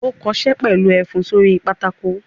Ó kọṣẹ́ pẹ̀lú ẹfun sórí pátákó!